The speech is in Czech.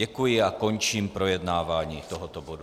Děkuji a končím projednávání tohoto bodu.